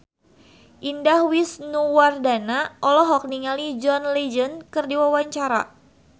Indah Wisnuwardana olohok ningali John Legend keur diwawancara